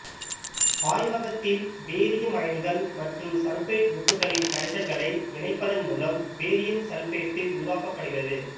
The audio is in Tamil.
ஆய்வகத்தில் பேரியம் அயனிகள் மற்றும் சல்பேட் உப்புகளின் கரைசல்களை இணைப்பதன் மூலம் பேரியம் சல்பேட்டு உருவாக்கப்படுகிறது